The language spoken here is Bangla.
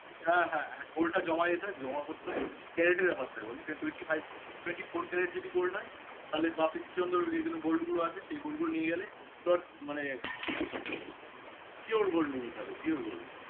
হ্যাঁ হ্যাঁ gold টা জমা দিতে হয় জমা করতে হয় carat এর ব্যাপার থাকে বুঝলি twenty five twenty four carat যদি gold হয় তাহলে বাকি যে gold গুলো আছে সে gold গুলো নিয়ে গেলে মানে pure gold নিয়ে যেতে হবে pure gold